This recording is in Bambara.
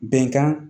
Bɛnkan